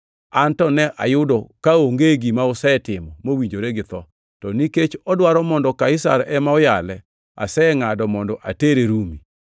An to ne ayudo kaonge gima osetimo mowinjore githo, to nikech odwaro mondo Kaisar ema oyale, asengʼado mondo otere Rumi.